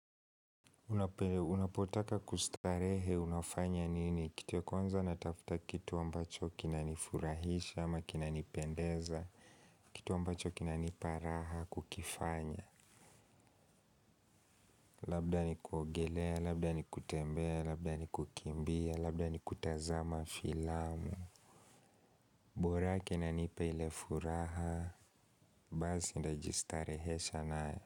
Unapotaka kustarehe unafanya nini? Kitu ya kwanza natafuta kitu ambacho kinanifurahisha ama kinanipendeza, kitu ambacho kinanipa raha kukifanya. Labda ni kuongelea, labda ni kutembea, labda ni kukimbia, labda ni kutazama filamu. Mbora kinanipa ile furaha, bazi singejistarehesha nae.